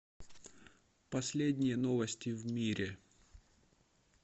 последние новости в мире